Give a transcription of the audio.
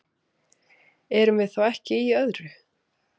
Erum við þá ekki í öðru?